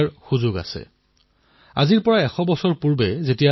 ইয়াৰে এটা এপ আছে সেয়া হল কুটুকী শিশুৰ শিক্ষণ এপ